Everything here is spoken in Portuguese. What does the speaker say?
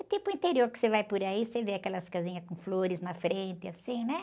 O típico interior que você vai por aí, você vê aquelas casinhas com flores na frente, assim, né?